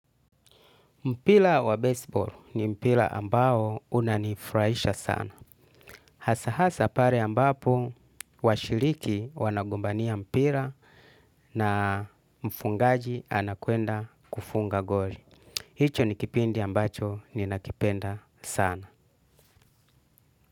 Mpira wa bezibol ni mpira ambao unanifurahisha sana. Hasa hasa pale ambapo washiriki wanagombania mpira na mfungaji anakwenda kufunga goli. Hicho ni kipindi ambacho ninakipenda sana.